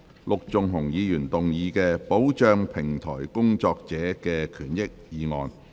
陸頌雄議員動議的"保障平台工作者的權益"議案。